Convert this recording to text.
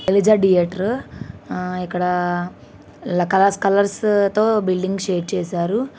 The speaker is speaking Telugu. శైలజ థియేటర్ ఆ ఇక్కడ ల కలర్ కలర్స్ తో బిల్డింగ్ షేడ్ చేసారు.